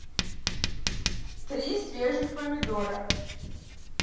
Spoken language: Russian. три свежих помидора